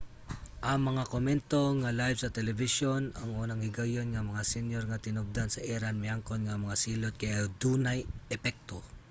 ang mga komento nga live sa telebisyon ang unang higayon nga ang mga senyor nga tinubdan sa iran miangkon nga ang mga silot kay dunay epekto